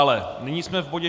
Ale nyní jsme v bodě